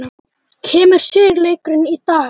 Kemur sigurleikurinn í dag?